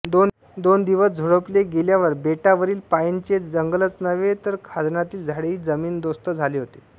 दोन दिवस झोडपले गेल्यावर बेटावरील पाइनचे जंगलच नव्हे तर खाजणातील झाडेही जमीनदोस्त झाले होते